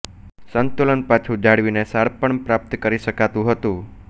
સંતુલન પાછું જાળવીને શાણપણ પ્રાપ્ત કરી શકાતું હતું